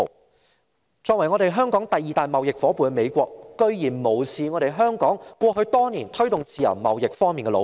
美國作為香港的第二大貿易夥伴，竟然無視香港過去多年在推動自由貿易方面的努力。